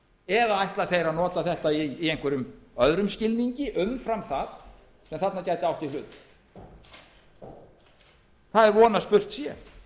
eða ætla þeir að nota þetta í einhverjum öðrum skilningi umfram það sem þarna gæti átt í hlut það er von að spurt sé